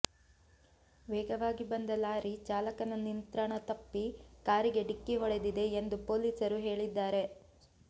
ವೇಗವಾಗಿ ಬಂದ ಲಾರಿ ಚಾಲಕನ ನಿಂತ್ರಣ ತಪ್ಪಿ ಕಾರಿಗೆ ಡಿಕ್ಕಿ ಹೊಡೆದಿದೆ ಎಂದು ಪೊಲೀಸರು ಹೇಳಿದ್ದಾರೆ